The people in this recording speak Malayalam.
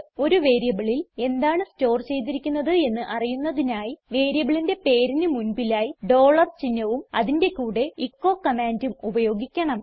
ഒരു വേരിയബിളിൽ എന്താണ് സ്റ്റോർ ചെയ്തിരിക്കുന്നത് എന്ന് അറിയുന്നതിനായി വേരിയബിളിന്റെ പേരിന് മുൻപിലായി ഡോളർ ചിഹ്നവും അതിന്റെ കൂടെ എച്ചോ കമാൻഡും ഉപയോഗിക്കണം